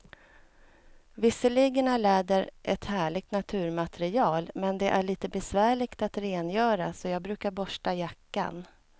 Visserligen är läder ett härligt naturmaterial, men det är lite besvärligt att rengöra, så jag brukar borsta jackan.